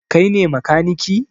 Kai ne makaniki?